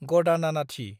गदानानाथि